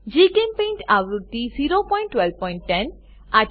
જીચેમ્પેઇન્ટ આવૃત્તિ 01210